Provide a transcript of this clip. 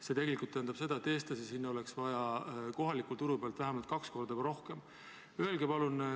See tähendab seda, et eestlasi oleks kohaliku turu pealt sinna vaja vähemalt kaks korda rohkem saada.